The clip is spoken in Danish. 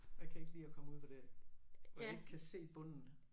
Jeg kan ikke lide at komme ud på det og ikke kan se bunden